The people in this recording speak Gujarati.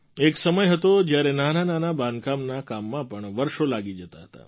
એક સમય હતો જ્યારે નાનાંનાનાં બાંધકામના કામમાં પણ વર્ષો લાગી જતાં હતાં